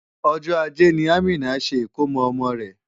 Ọjọ́ ajé ni Amina ṣe ìkómo ọmọ rẹ̀.